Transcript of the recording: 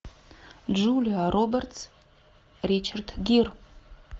джулия робертс ричард гир